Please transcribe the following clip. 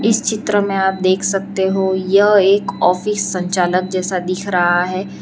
इस चित्र में आप देख सकते हो यह एक ऑफिस संचालक जैसा दिख रहा है।